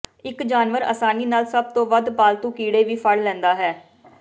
ਇਕ ਜਾਨਵਰ ਆਸਾਨੀ ਨਾਲ ਸਭ ਤੋਂ ਵੱਧ ਫਾਲਤੂ ਕੀੜੇ ਵੀ ਫੜ ਲੈਂਦਾ ਹੈ